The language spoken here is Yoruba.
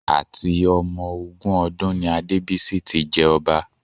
Àti ọmọ ogún ọdún ni Adébísí tí jẹ ọba